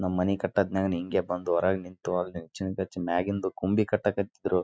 ನಮ್ಮನೆ ಕಟ್ಟೋದನ್ನ ನಾನು ಹಿಂಗೆ ಬಂದು ಹೊರಗೆ ನಿಂತು ಮ್ಯಾಗಿಂದು ಕೊಂಬೆ ಕಟ್ಟಾಕತ್ತಿದ್ರು.